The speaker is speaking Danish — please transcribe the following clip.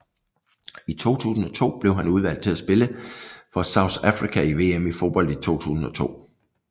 I 2002 blev han udvalgt til at spille for South Africa i VM i fodbold 2002